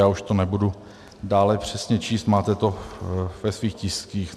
Já už to nebudu dále přesně číst, máte to ve svých tiscích.